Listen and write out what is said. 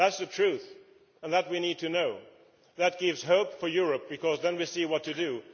That is the truth and we need to know that. That gives hope for Europe, because then we see what to do